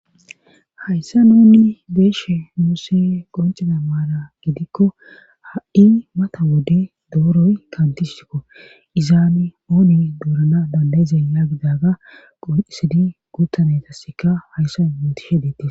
hayssa ooni beeshe muuse qonciza maara gidikko ha7i mata wode dooroy kantishikko izaane ooni duurana bandayizay yaagidaga qonisidi guuttanetassika hayssa muntishe deettis